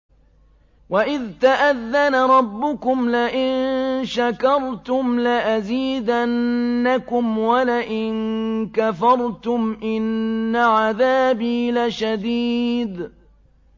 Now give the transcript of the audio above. وَإِذْ تَأَذَّنَ رَبُّكُمْ لَئِن شَكَرْتُمْ لَأَزِيدَنَّكُمْ ۖ وَلَئِن كَفَرْتُمْ إِنَّ عَذَابِي لَشَدِيدٌ